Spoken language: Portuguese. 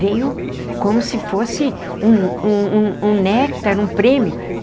Veio como se fosse um um um um néctar, um prêmio.